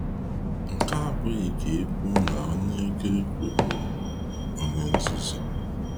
Nkea abụghị ka e kwuo na na onye oke okwu bụ onye nzuzu.